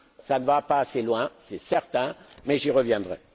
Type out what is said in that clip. Cela ne va pas assez loin, c'est certain, mais j'y reviendrai.